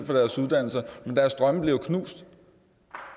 deres uddannelser men deres drømme bliver jo knust